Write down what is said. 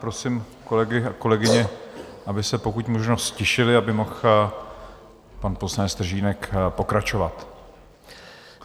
Prosím kolegy a kolegyně, aby se pokud možno ztišili, aby mohl pan poslanec Stržínek pokračovat.